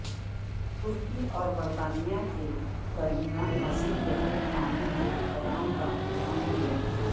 ترکی اور برطانیہ کے درمیان مزید گہرے تعاون کے قیام کا عندیہ